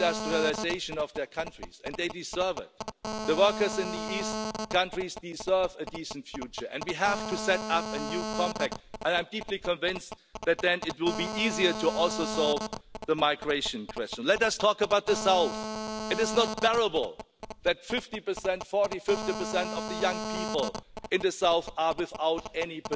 it, a lot of bad blood was shed, and the typical share of bullying and invectives were thrown around, but the real question that you should ask yourself